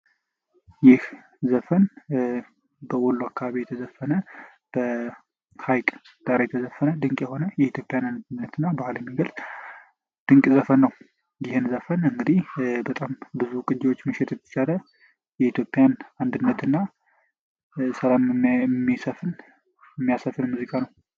ይህ ዘፈን እንግዲህ በወሎ አካባቢ የተዘፈነ በሀይ ቀዳሪ የተዘፈነ ድንቅ የሆነ የኢትዮጵያ ድንቅ ዘፈን ነው ይህን ዘፈን እንግዲ ብዙ ቅጅዎች መሸጥ ይቻላል የኢትዮጵያን አንድነት የሚያሰፍን ሙዚቃ ነው።